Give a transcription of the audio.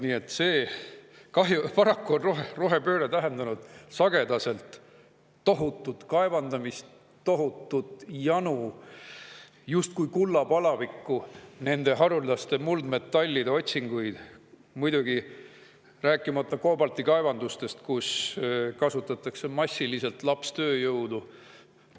Nii et paraku on rohepööre tähendanud sagedaselt tohutut kaevandamist, tohutut janu, justkui kullapalavikku, haruldaste muldmetallide otsinguid, rääkimata muidugi koobaltikaevandustest, kus kasutatakse massiliselt lapstööjõudu.